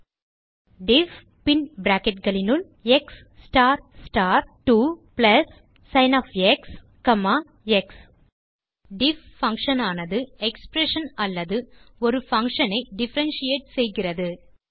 எனவே டைப் செய்க டிஃப் பின் bracketகளினுள் x star star 2 plus sin of x comma x diff function ஆனது எக்ஸ்பிரஷன் அல்லது ஒரு பங்ஷன் ஐ டிஃபரன்ஷியேட் செய்கிறது